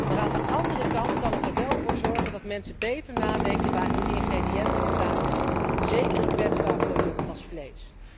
Maar aan de andere kant kan die er wel voor zorgen dat de mensen beter nadenken over waar hun ingrediënten vandaan komen, zeker een kwetsbaar product als vlees.